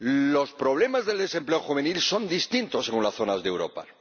Los problemas del desempleo juvenil son distintos según las zonas de Europa.